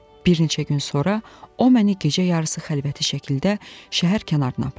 Bir neçə gün sonra o məni gecə yarısı xəlvəti şəkildə şəhər kənarına apardı.